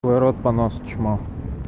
твой рот понос чмо